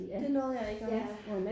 Det nåede jeg ikke og have